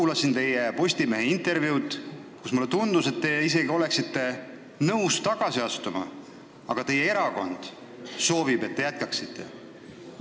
Samas teie Postimehele antud intervjuust jäi mulje, et te isegi oleksite nõus tagasi astuma, aga teie erakond soovib, et te jätkaksite.